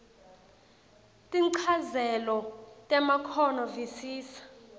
tinchazelo temakhono visisa